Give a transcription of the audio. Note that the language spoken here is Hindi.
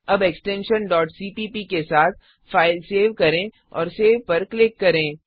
अब एक्सटेंशन cpp के साथ फ़ाइल सेव करें और सेव सेव पर क्लिक करें